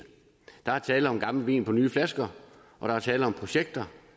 der er tale om gammel vin på nye flasker og der er tale om projekter